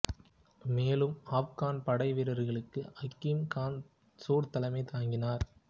மேலும் ஆப்கான் படைவீரர்களுக்கு ஹக்கீம் கான் சூர் தலைமை தாங்கினார்